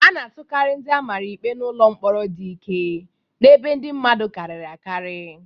A na-atụkarị ndị a mara ikpe n'ụlọ mkpọrọ dị ike na ebe ndị mmadụ karịrị akarị.